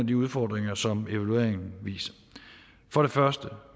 de udfordringer som evalueringen viser for det første